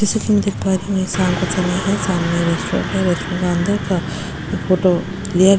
जैसा कि मैं देख पा रही हूं ये शाम का समय है सामने रेस्टोरेंट है रेस्टोरेंट का अंदर का फोटो लिया --